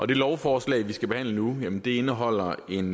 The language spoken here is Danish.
det lovforslag vi skal behandle nu indeholder en